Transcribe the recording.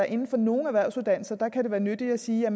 inden for nogle erhvervsuddannelser kan være nyttigt at sige at